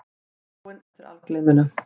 Þráin eftir algleyminu.